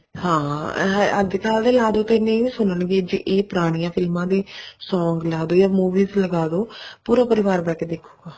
ਹਾਂ ਅੱਜਕਲ ਦੇ ਲਾਦੋ ਨਹੀਂ ਨਹੀਂ ਸੁਣਨਗੇ ਜੇ ਇਹ ਪੁਰਾਣੀਆਂ ਫ਼ਿਲਮਾ ਦੇ song ਲਾਦੋ ਜਾਂ movies ਲਾਦੋ ਪੂਰਾ ਪਰਿਵਾਰ ਬਹਿ ਕੇ ਦੇਖੁਗਾ